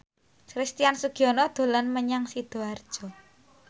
Christian Sugiono dolan menyang Sidoarjo